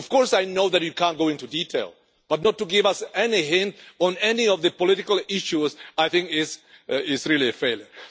Of course, I know that you cannot go into detail, but not to give us any hint on any of the political issues is, I think, really a failure.